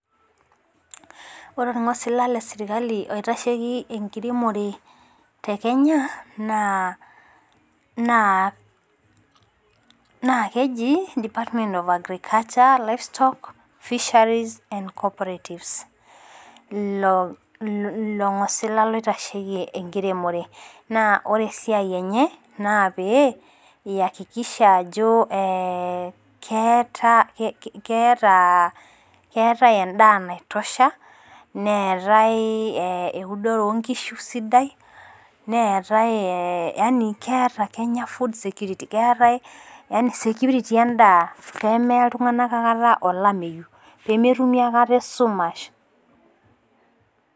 Ore ornng'osila le serikali loitasheki enkiremore tee Kenya naa naa keji Department of Agriculture livestock fisheries and corpratives ILO ngosila loitasheki enkiremore. Naa ore esidai enye naa pee iyakikisha ajo we keeta eda naitosha neetae eudore oo nkishu sidai neetae yaani keeta Kenya food security keetai security edaa pemaya akata oltung'ana olametu pemetumi akata esumash.